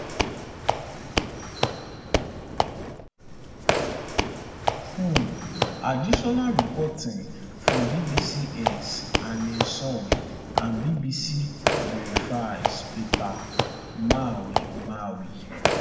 um additional reporting from bbcs anne soy and bbc verifys peter mwai mwai